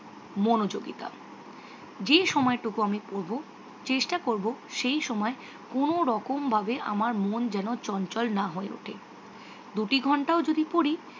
মনোযোগিতা। যে সময়টুকু আমি পড়ব চেষ্টা করব সেই সময় কোনোরকম ভাবে আমার মন যেন চঞ্চল না হয়ে ওঠে। দুটি ঘণ্টাও যদি পড়ি